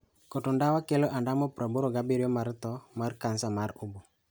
Koto ndawa kelo ondamo 87 mar tho mar kansa mar obo.